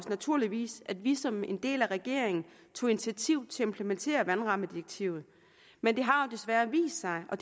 naturligvis at vi som en del af regeringen tog initiativet til at implementere vandrammedirektivet men det har desværre vist sig og